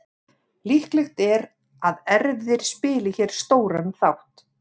Líklegt er að erfðir spili hér stóran þátt.